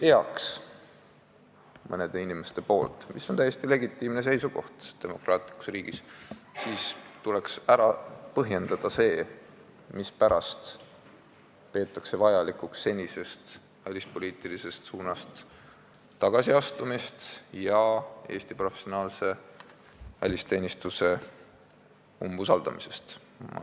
Ja kui mõned inimesed ütlevad, et ei peaks, mis on täiesti legitiimne seisukoht demokraatlikus riigis, siis tuleks ära põhjendada, mispärast peetakse vajalikuks senisest välispoliitilisest suunast tagasiastumist ja Eesti professionaalse välisteenistuse umbusaldamist.